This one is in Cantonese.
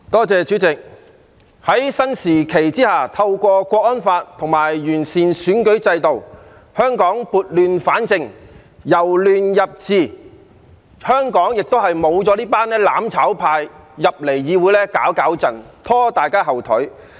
主席，在新時期下，透過《香港國安法》和完善選舉制度，香港撥亂反正、由亂入治，現在亦沒有那些"攬炒派"在議會內搗亂，拖大家後腿。